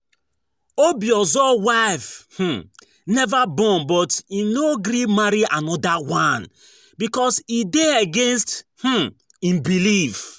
Obiozor wife never born but im no gree marry another one because e dey against im belief